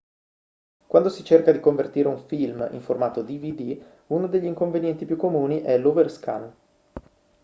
quando si cerca di convertire un film in formato dvd uno degli inconvenienti più comuni è l'overscan